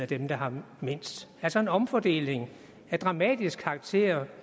dem der har mindst altså en omfordeling af dramatisk karakter